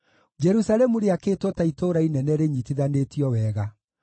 Jerusalemu rĩakĩtwo ta itũũra inene rĩnyitithanĩtio wega.